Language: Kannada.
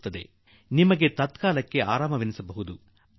ಸ್ವಲ್ಪ ಸಮಯಕ್ಕಾಗಿ ನಿಮಗೇನೋ ಅದರಿಂದ ಪರಿಹಾರ ದೊರಕಿಬಿಡುತ್ತದೆ